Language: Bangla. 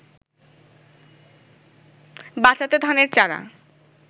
বাঁচাতে ধানের চারা